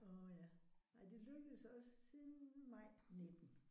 Åh ja. Ej det lykkedes os siden maj 19